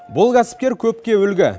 бұл кәсіпкер көпке үлгі